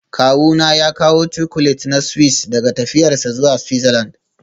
Kawuna ya kawo Chocolate na Swiss daga tafiyarsa zuwa Switzerland